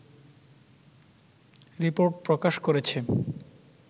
report প্রকাশ করেছে